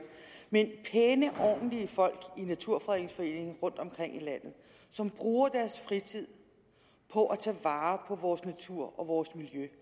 men pæne og ordentlige folk i naturfredningsforeningen som rundtomkring i landet bruger deres fritid på at tage vare på vores natur og miljø